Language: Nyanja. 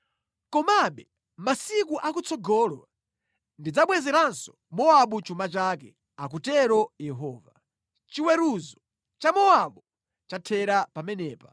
“Komabe masiku akutsogolo ndidzabwezeranso Mowabu chuma chake,” akutero Yehova. Chiweruzo cha Mowabu chathera pamenepa.